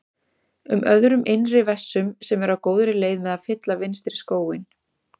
um öðrum innri vessum sem eru á góðri leið með að fylla vinstri skóinn.